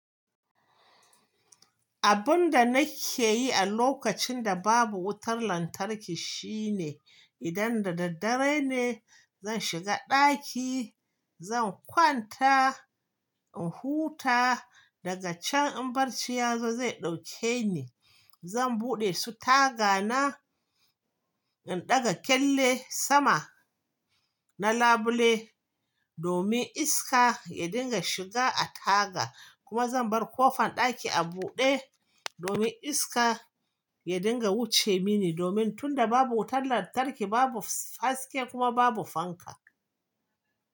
Abun da nake yi a lokacin da babu wutar lantarki shine, idan da daddare ne, zan shiga ɗaki, zan kwanta in huta daga can in barci ya zo zai ɗauke ni. Zan buɗe su taga na, in ɗaga kyalle sama na labule domin iska ya dinga shiga a taga kuma zan bar kofan ɗaki a buɗe domin iska ya dinga wuce mini domin tunda babu wutan lantarki babu haske kuma babu fanka.